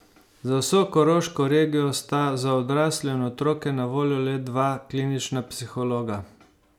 Za vso koroško regijo sta za odrasle in otroke na voljo le dva klinična psihologa.